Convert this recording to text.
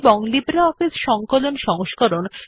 প্রথমে আমরা Writer এ লেখা অ্যালিগন বা বিন্যস্ত করা শিখব